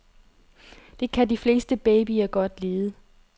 Det kan de fleste babyer godt lide.